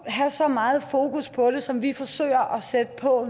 at have så meget fokus på det som vi nu forsøger at sætte på